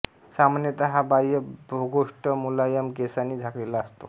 सामान्यत हा बाह्य भेगोष्ठ मुलायम केसांनी झाकलेला असतो